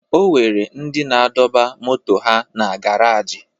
O nwere ndị na-adọba moto ha na garaajị